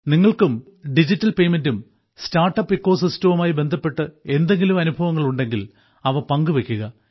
നിങ്ങൾക്കും ഡിജിറ്റൽ പേയ്മെന്റും startup eco സിസ്റ്റവുമായി ബന്ധപ്പെട്ട് എന്തെങ്കിലും അനുഭവങ്ങൾ ഉണ്ടെങ്കിൽ അവ പങ്കുവെയ്ക്കുക